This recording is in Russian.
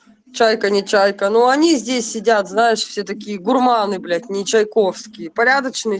чайка нечайка но они здесь сидят знаешь все такие гурманы блять не чайковские порядочные